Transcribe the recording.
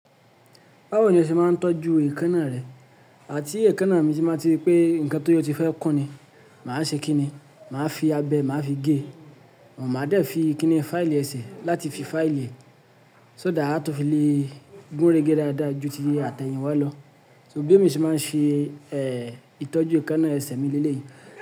Báwo ni ẹ ṣe máa ń tọ́jú èékánná rẹ? Àti èékánná mi ti máa ti rí pé nǹkan tó yọ ti fẹ́ kánni, màá ṣe kí ni? Màá fi abẹ, màá fi gé, màá dẹ fi kíni fáìlì ẹsẹ̀ láti fi fáìlì rẹ̀, só dà á tó fi le gúnrégé dáadáa ju ti àtẹ̀yìn wá lọ. So gbé mi ṣé máa ń ṣe, ẹ́, ìtọ́jú èékánná ẹsẹ̀ mi léyìí.